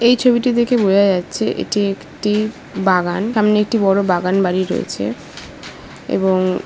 এই ছবিটি দেখে বোঝা যাচ্ছেএটি একটি বাগান সামনে একটি বড় বাগান বাড়ি রয়েছে এবং- -